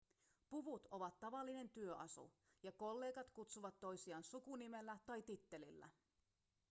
puvut ovat tavallinen työasu ja kollegat kutsuvat toisiaan sukunimellä tai tittelillä